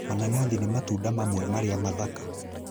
Mananathi nĩ matunda mamwe marĩa mathaka